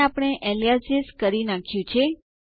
અને આપણે એલિયાસિસ કરી નાખ્યું છે